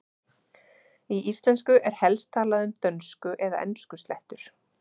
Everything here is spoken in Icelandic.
í íslensku er helst talað um dönsku eða enskuslettur